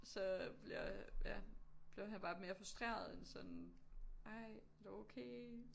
Så bliver ja blev han bare mere frustreret end sådan ej er du okay?